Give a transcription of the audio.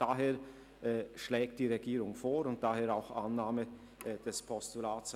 Daher schlägt die Regierung die Annahme des Vorstosses als Postulat vor.